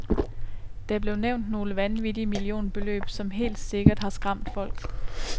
Der blev nævnt nogle vanvittige millionbeløb, som helt sikkert har skræmt folk.